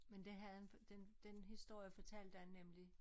Men det havde den den historie fortalte han nemlig